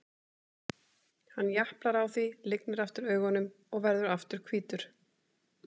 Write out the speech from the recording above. Hann japlar á því, lygnir aftur augunum og verður aftur hvítur.